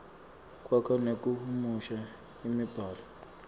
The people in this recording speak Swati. kwakha nekuhumusha imibhalo